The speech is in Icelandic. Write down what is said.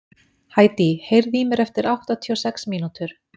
Hædý, heyrðu í mér eftir áttatíu og sex mínútur.